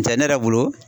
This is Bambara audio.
N tɛ ne yɛrɛ bolo